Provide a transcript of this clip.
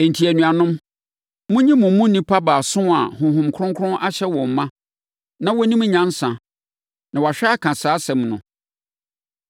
Enti, anuanom, monyi mo mu nnipa baason a Honhom Kronkron ahyɛ wɔn ma na wɔnim nyansa na wɔahwɛ aka saa asɛm no.